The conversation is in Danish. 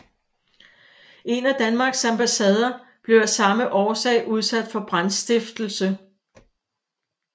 En af Danmarks ambassader blev af samme årsag udsat for brandstiftelse